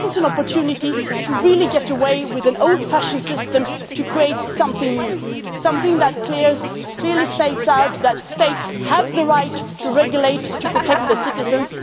to face that. So this is an opportunity to really get rid of an old-fashioned system to create something new something that clearly spells out that states have the right to regulate in order to protect